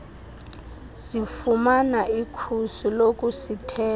zifumana ikhusi lokusithela